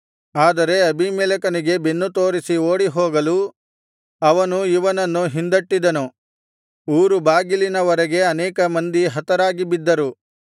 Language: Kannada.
ಆದರೆ ಅಬೀಮೆಲೆಕನಿಗೆ ಬೆನ್ನು ತೋರಿಸಿ ಓಡಿಹೋಗಲು ಅವನು ಇವನನ್ನು ಹಿಂದಟ್ಟಿದನು ಊರುಬಾಗಿಲಿನವರೆಗೆ ಅನೇಕ ಮಂದಿ ಹತರಾಗಿ ಬಿದ್ದರು